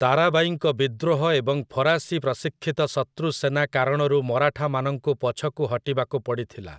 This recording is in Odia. ତାରାବାଈଙ୍କ ବିଦ୍ରୋହ ଏବଂ ଫରାସୀ ପ୍ରଶିକ୍ଷିତ ଶତ୍ରୁ ସେନା କାରଣରୁ ମରାଠାମାନଙ୍କୁ ପଛକୁ ହଟିବାକୁ ପଡ଼ିଥିଲା ।